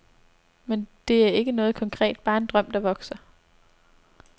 Men det er ikke noget konkret, bare en drøm der vokser.